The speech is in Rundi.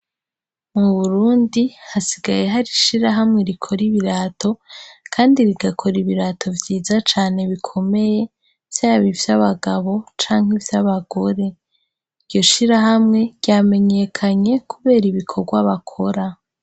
Mu burundi hasigaye harishira hamwe rikora ibirato, kandi rigakora ibirato vyiza cane bikomeye vyabo ivyo abagabo canke ivyo abagore iryo shira hamwe ryamenyekanye, kubera ibikorwa bakora.